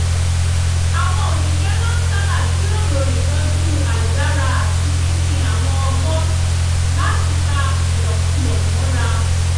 àwọn òṣìṣẹ́ máa ń sábà jíròrò ìtọ́jú àìdára àti pínpín àwọn ọgbọ́n láti pa ìlòkulò mọ́ra